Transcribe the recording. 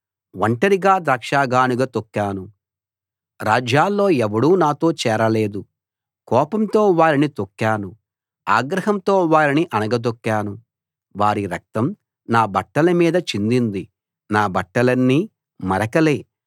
ఒంటరిగా ద్రాక్షగానుగ తొక్కాను రాజ్యాల్లో ఎవడూ నాతో చేరలేదు కోపంతో వారిని తొక్కాను ఆగ్రహంతో వారిని అణగదొక్కాను వారి రక్తం నా బట్టల మీద చిందింది నా బట్టలన్నీ మరకలే